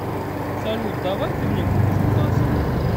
салют давай ты мне купишь мотоцикл